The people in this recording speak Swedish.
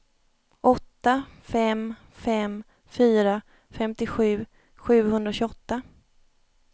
åtta fem fem fyra femtiosju sjuhundratjugoåtta